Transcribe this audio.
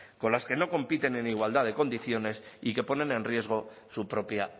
con las que no compiten en igualdad de condiciones y que ponen en riesgo su propia